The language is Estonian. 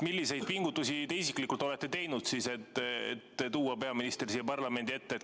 Milliseid pingutusi te isiklikult olete teinud, et tuua peaminister siia parlamendi ette?